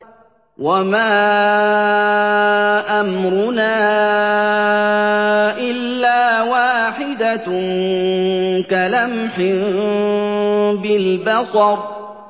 وَمَا أَمْرُنَا إِلَّا وَاحِدَةٌ كَلَمْحٍ بِالْبَصَرِ